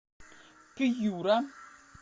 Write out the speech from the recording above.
пьюра